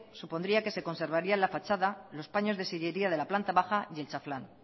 supondría que se conservaría la fachada los paños de sillería de la planta baja y el chaflán